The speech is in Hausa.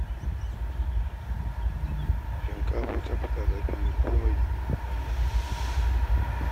Shinkafa ta fi tsada fiye da komai a wannan lokaci